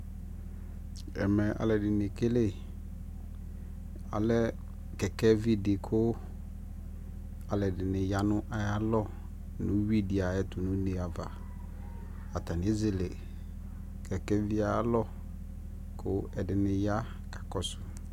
ɛmɛ alʋɛdini ɛkɛlɛ, alɛkɛkɛ vidi kʋ alʋɛdini yanʋ ayialɔ nʋ ʋwi di ayɛtʋ nʋʋnɛ aɣa, atani ɛzɛlɛ kɛkɛ viɛ alɔ kʋ ɛdini ya kakɔsʋ